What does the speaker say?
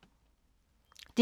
DR P2